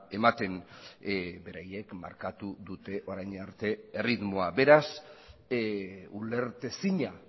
ematen beraiek markatu dute orain arte erritmoa beraz ulertezina